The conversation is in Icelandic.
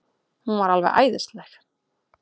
Hún var alveg æðisleg.